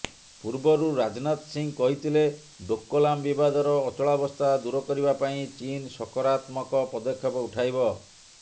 ପୂର୍ବରୁ ରାଜନାଥ ସିଂହ କହିଥିଲେ ଡୋକଲାମ ବିବାଦର ଅଚଳାବସ୍ଥା ଦୁର କରିବା ପାଇଁ ଚୀନ ସକରାତ୍ମକ ପଦକ୍ଷେପ ଉଠାଇବ